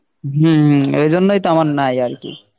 হম এজন্যই তো আমার নাই আরকি।